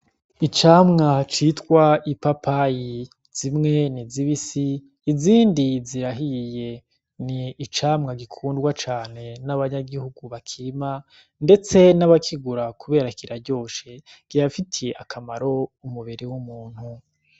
Icamwa citwa ipapayi, zimwe ni zibisi izindi zirahiye, ni icamwa gikundwa cane n'abanyagihugu bakirima ndetse n'abakigura kubera kiraryose kirafitiye akamaro umubiri w'umuntu.